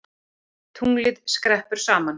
Tunglið skreppur saman